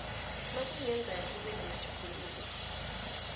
nakungenzeka kube namatjhuguluko